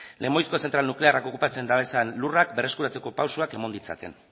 lemoizko zentral nuklearrak okupatzen dabezan lurrak berreskuratzeko pausoak emon ditzaten